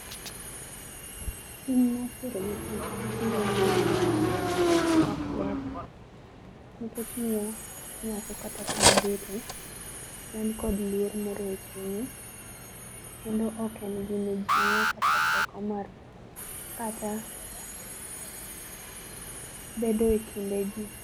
Tim mar tero nyithindo ma nyiri nyange ok ber nikech omiyo nyako kata kuma obete en kod luor moro e chunye kendo oken gi mijingo kata teko mar, kata bedo e kinde jii